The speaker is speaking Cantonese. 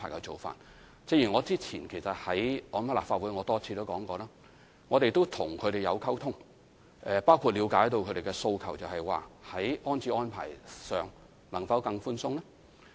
正如我早前在立法會上多次指出，我們與他們保持溝通，包括了解他們的訴求，就是在安置安排上，能否更寬鬆呢？